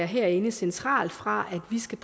herinde centralt fra der skal